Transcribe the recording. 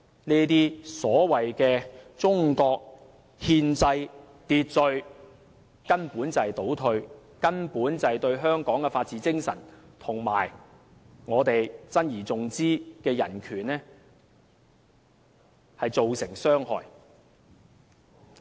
這種所謂的中國憲制秩序根本就是一種倒退，是對香港的法治精神和我們珍而重之的人權造成傷害。